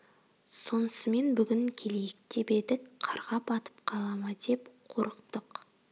сонысымен бүгін келейік деп едік қарға батып қала ма деп қорықтық